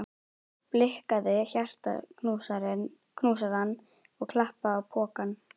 Blikkaði hjartaknúsarann og klappaði á pokann.